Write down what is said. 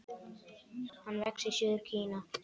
Hann vex í suður Kína.